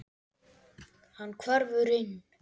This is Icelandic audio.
Hann hverfur inn.